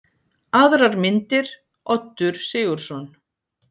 Aðrar myndir: Oddur Sigurðsson.